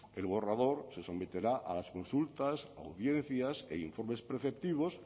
el borrador se someterá a las consultas audiencias e informes preceptivos